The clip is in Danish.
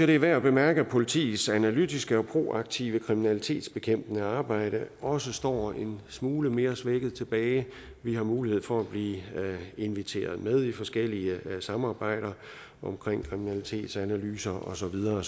det er værd at bemærke at politiets analytiske og proaktive kriminalitetsbekæmpende arbejde også står smule mere svækket tilbage vi har mulighed for at blive inviteret med i forskellige samarbejder om kriminalitetsanalyser og så videre